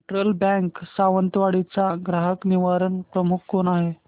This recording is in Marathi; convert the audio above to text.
फेडरल बँक सावंतवाडी चा ग्राहक निवारण प्रमुख कोण आहे